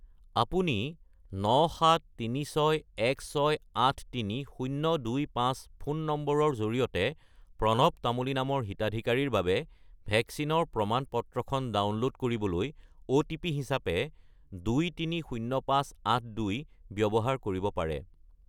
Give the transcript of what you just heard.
আপুনি 97361683025 ফোন নম্বৰৰ জৰিয়তে প্ৰণৱ তামুলী নামৰ হিতাধিকাৰীৰ বাবে ভেকচিনৰ প্ৰমাণ-পত্ৰখন ডাউনলোড কৰিবলৈ অ'টিপি হিচাপে 230582 ব্যৱহাৰ কৰিব পাৰে।